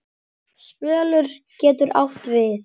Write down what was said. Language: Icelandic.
Spölur getur átt við